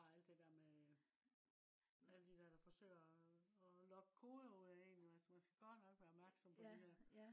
og alt det der med øh alle de der der forsøger og øh at logge kodeord ud af en altså man skal jo godt nok være opmærksom på de der